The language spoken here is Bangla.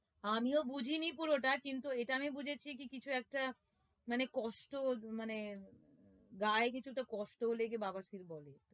আমিও বুঝিনি পুরোটা কিন্তু এটা আমি বুঝেছি কি কিছু একটা মানে কষ্ট মানে গায়ে কিছু একটা কষ্ট হলে একে বাওয়া সির বলে